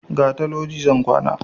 Gata loji zan kwana